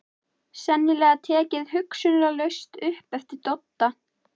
Sennilega tekið hugsunarlaust upp eftir Dodda.